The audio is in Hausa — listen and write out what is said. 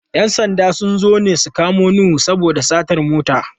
‘Yan sanda sun zo ne su kamo Nuhu saboda satar mota.